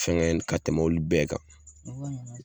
Fɛngɛn ka tɛmɛ olu bɛɛ kan